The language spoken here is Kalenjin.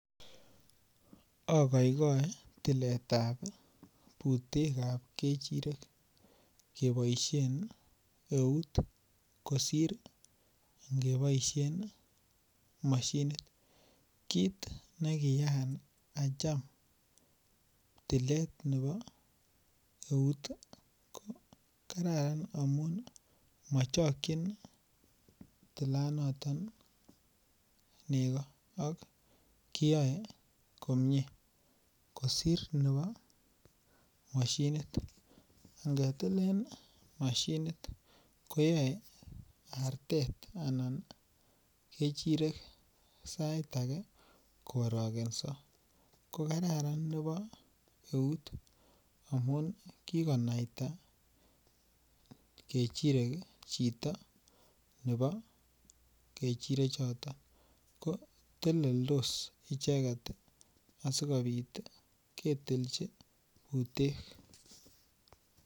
Akoikoe tiletab butek ab kechirek keboisien eut kosir ngeboisien masinit kit ne kiyaan acham tilet nebo eut ko Kararan amun michokyin tilanato nego ak kiyoe komie kosir nebo masinit angetilen masinit ko yoe artet anan kechirek sait age ko koariogenso ko Kararan nebo eut amun kikonaita kechirek chito nebo kechirechoto ko teleldos icheget asikobit ketiji butek